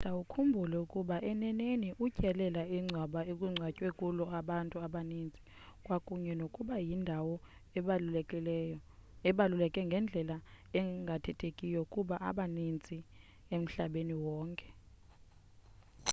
nceda ukhumbule ukuba eneneni utyelela ingcwaba ekungcwatywe kulo abantu abaninzi kwakunye nokuba yindawo ebaluleke ngendlela engathethekiyo kubantu abaninzi emhlabeni wonke